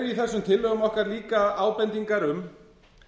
í þessum tillögum okkar ábendingar um